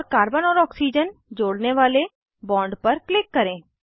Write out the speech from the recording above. और कार्बन और ऑक्सीजन जोड़ने वाले बॉन्ड पर क्लिक करें